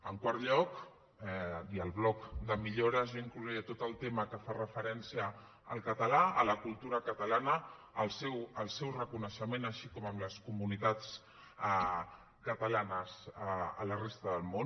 en quart lloc i al bloc de millores jo inclouria tot el tema que fa referència al català a la cultura catalana al seu reconeixement així com amb les comunitats catalanes a la resta del món